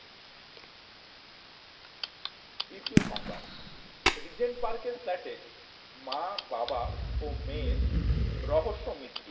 দ্বিতীয় সংবাদ Regent Park এর flat এ মা বাবা ও মেয়ের রহস্য মৃত্যু